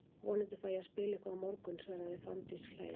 Vonandi fæ ég að spila eitthvað á morgun, svaraði Fanndís hlæjandi.